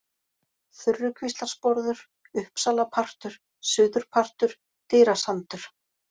Þurrukvíslarsporður, Uppsalapartur, Suðurpartur, Dyrasandur